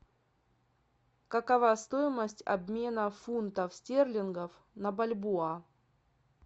какова стоимость обмена фунтов стерлингов на бальбоа